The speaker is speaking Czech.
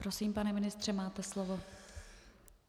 Prosím, pane ministře, máte slovo.